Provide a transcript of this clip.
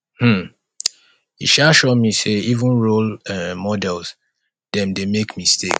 um e um sure me sey even role um models dem dey make mistake